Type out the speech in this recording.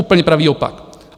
Úplně pravý opak.